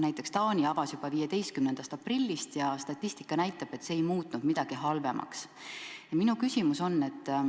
Näiteks Taani avas koolid juba 15. aprillil ja statistika näitab, et see ei muutnud midagi halvemaks.